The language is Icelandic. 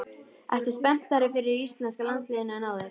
Ertu spenntari fyrir íslenska landsliðinu en áður?